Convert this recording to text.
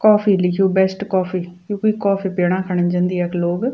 कॉफ़ी लिख्युं best coffee यु कुई कॉफ़ी पीणा खन जन्दी यख लोग।